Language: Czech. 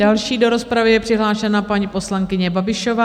Další do rozpravy je přihlášená paní poslankyně Babišová.